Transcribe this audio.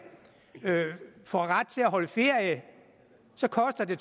får ret til at holde ferie koster det